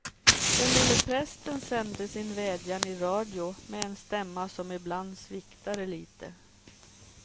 Den lille prästen sände sin vädjan i radio med en stämma som ibland sviktade lite.